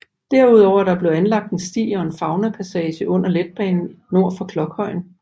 Derudover er der blevet anlagt en sti og en faunapassage under letbanen nord for Klokhøjen